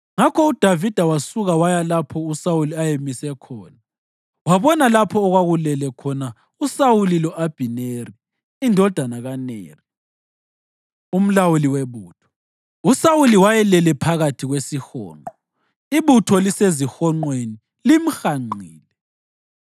Ngakho uDavida wasuka waya lapho uSawuli ayemise khona wabona lapho okwakulele khona uSawuli lo-Abhineri indodana kaNeri, umlawuli webutho. USawuli wayelele phakathi kwesihonqo, ibutho lisezihonqweni limhanqile.